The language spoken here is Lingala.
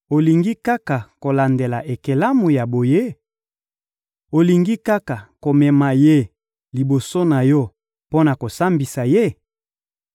Olingi kaka kolandela ekelamu ya boye? Olingi kaka komema ye liboso na Yo mpo na kosambisa ye?